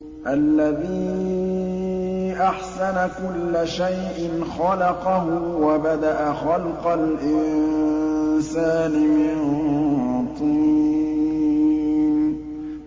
الَّذِي أَحْسَنَ كُلَّ شَيْءٍ خَلَقَهُ ۖ وَبَدَأَ خَلْقَ الْإِنسَانِ مِن طِينٍ